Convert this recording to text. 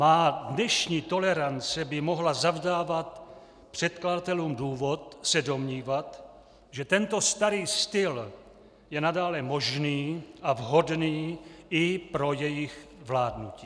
Má dnešní tolerance by mohla zavdávat předkladatelům důvod se domnívat, že tento starý styl je nadále možný a vhodný i pro jejich vládnutí.